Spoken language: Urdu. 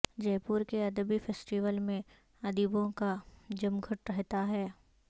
جے پور کے ادبی فیسٹیول میں ادیبوں کا جمگھٹ رہتا ہے